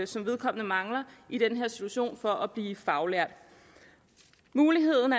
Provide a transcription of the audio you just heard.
som vedkommende mangler i den her situation for at blive faglært muligheden